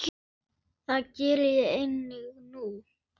Já, sínum af hvoru tagi.